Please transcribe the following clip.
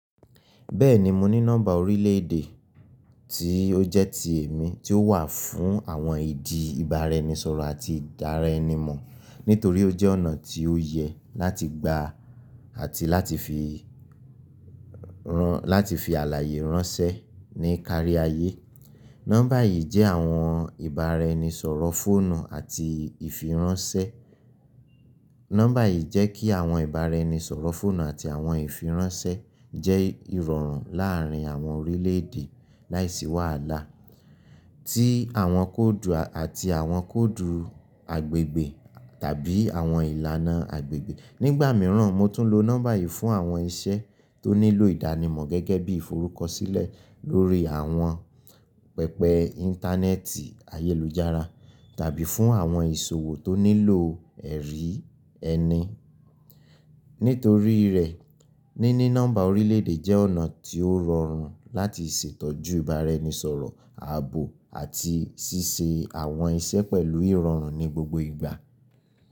Bẹ́ẹ̀ni, mo ní nọ́mbà orílẹ̀ èdè tí ó jẹ́ ti èmi tí ó wà fún àwọn ìdí ìbára ẹni sọ̀rọ̀ àti ìdáre ẹni mọ̀ nítorí ó jẹ́ ọ̀nà tí ó yẹ láti gbà àti láti fi àlàyé ránṣẹ́ ní kárí ayé. Nọ́mbà yìí jẹ́ àwọn ìbára ẹni sọ̀rọ̀ fóònù àti ìfiránṣẹ́. Nọ́mbà yìí jẹ́ kí àwọn ìbára ẹni sọ̀rọ̀ fóònù àti àwọn ìfiránṣẹ́ jẹ́ ìrọ̀rùn láàárín àwọn orílẹ̀ èdè láìsí wàhálà tí àwọn kóòdù àti àwọn kóòdù agbègbè tàbí àwọn ìlànà agbègbè. Nígbà mìíràn, mo tún lo nọ́mbà yìí fún àwọn iṣẹ́ tó nílò ìdánimọ̀ gẹ́gẹ́ bí i forúkọsílẹ̀ lórí àwọn pẹpẹ Íńtánẹ́ẹ̀tì ayélujára tàbí fún àwọn ìṣòwò tó nílò ẹ̀rí ẹni. Nítorí rẹ̀, níní nọ́mbà orílẹ̀ èdè jẹ́ ọ̀nà tí ó rọrùn láti ṣètọ́jú ìbára ẹni sọ̀rọ̀, ààbò àti ṣíṣe àwọn iṣẹ́ pẹ̀lú ìrọ̀rùn ní gbogbo ìgbà.